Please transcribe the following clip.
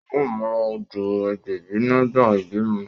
A o mu lọ sí ọdọ agbẹbi nígbà ibimọ